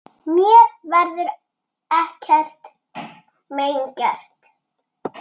Mér verður ekkert mein gert.